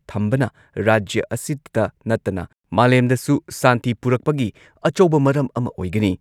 ꯊꯝꯕꯅ ꯔꯥꯖ꯭ꯌ ꯑꯁꯤꯇ ꯅꯠꯇꯅ ꯃꯥꯂꯦꯝꯗꯁꯨ ꯁꯥꯟꯇꯤ ꯄꯨꯔꯛꯄꯒꯤ ꯑꯆꯧꯕ ꯃꯔꯝ ꯑꯃ ꯑꯣꯏꯒꯅꯤ ꯫